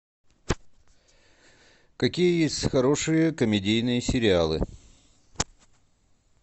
какие есть хорошие комедийные сериалы